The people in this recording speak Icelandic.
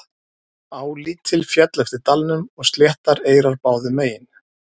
Á lítil féll eftir dalnum og sléttar eyrar báðum megin.